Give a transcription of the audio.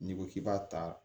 N'i ko k'i b'a ta